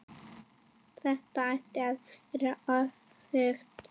Þetta ætti að vera öfugt.